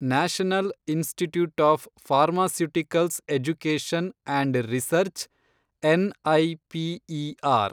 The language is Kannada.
national institute of pharmaceutical education and research, NIPER